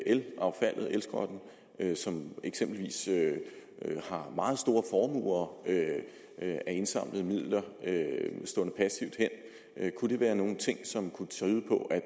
elaffaldet elskrotten som eksempelvis har meget store formuer af indsamlede midler stående passivt hen kunne det være nogle ting som kunne tyde på at